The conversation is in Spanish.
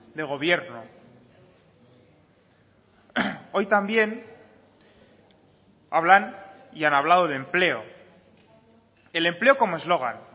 de gobierno hoy también hablan y han hablado de empleo el empleo como eslogan